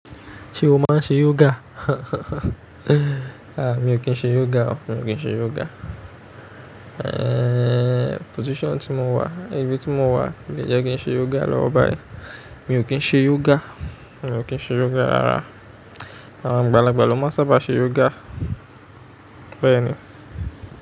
Ṣé o máa ń ṣe yoga? À, mi ò kí ń ṣe yoga o, mi ò kí ń ṣe yoga. Eh, position tí mo wà, ibi tí mo wà kò lè jẹ́ kí n ṣe yoga lọ́wọ́ báyìí. Mi ò kí ń ṣe yoga, mi ò kí ń ṣe yoga rárá. Àwọn àgbàlagbà ló máa sábà ṣe yoga. Bẹ́ẹ̀ ni.